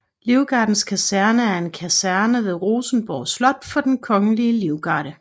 Livgardens Kaserne er en kaserne ved Rosenborg Slot for Den Kongelige Livgarde